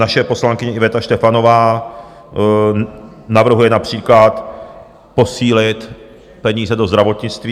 Naše poslankyně Iveta Štefanová navrhuje například posílit peníze do zdravotnictví.